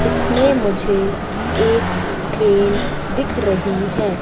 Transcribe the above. इसमें मुझे एक ट्रेन दिख रही है।